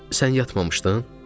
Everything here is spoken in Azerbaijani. Sən yatmamışdın?